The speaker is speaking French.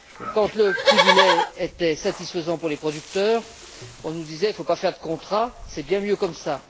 Quand le prix du lait était satisfaisant pour les producteurs, on nous disait qu'il ne fallait pas faire de contrats, que c'était bien mieux comme cela